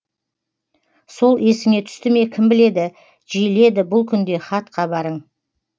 сол есіңе түсті ме кім біледі жиіледі бұл күнде хат хабарың